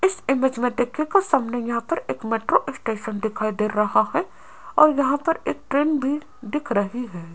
इस इमेज में देखिएगा सामने यहां पर एक मेट्रो स्टेशन दिखाई दे रहा है और यहां पर एक ट्रेन भी दिख रही है।